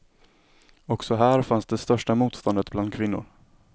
Också här fanns det största motståndet bland kvinnor.